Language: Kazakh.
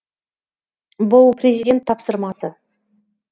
бұл президент тапсырмасы